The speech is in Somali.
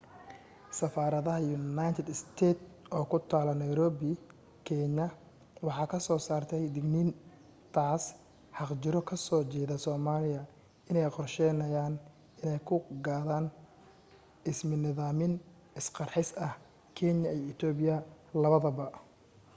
safarada united states ee ku tala nairobi kenya waxay ka soo saartay digniin taas xaqjiro ka soo jeeda somaliya in ay qorsheynaya inay ku qadan ismidamin isqarxis ah kenya iyo ethopia labadaba